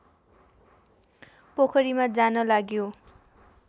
पोखरीमा जान लाग्यो